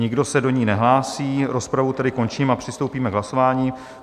Nikdo se do ní nehlásí, rozpravu tedy končím a přistoupíme k hlasování.